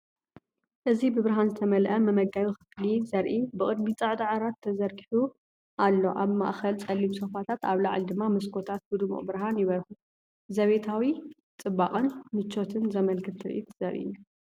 እዚ ብብርሃን ዝተመልአ መመገቢ ክፍሊ እዩ ዘርኢ። ብቕድሚት ጻዕዳ ዓራት ተዘርጊሑ ኣሎ፤ ኣብ ማእከል ጸሊም ሶፋታት ኣብ ላዕሊ ድማ መስኮታት ብድሙቕ ብርሃን ይበርሁ። ዘቤታዊ ጽባቐን ምቾትን ዘመልክት ትርኢት ዘርኢ እዩ።